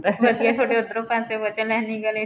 ਵਧੀਆ ਥੋਡੇ ਉਧਰੋ ਪਾਸੋਂ ਬਚਿਆ lining ਆਲੇ ਚੋ